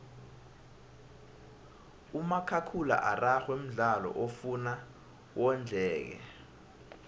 umakhakhula araxhwe mdlalo ofuna wondleke